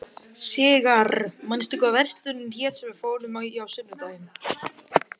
Sigarr, manstu hvað verslunin hét sem við fórum í á sunnudaginn?